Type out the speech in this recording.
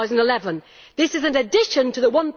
2011. This is in addition to the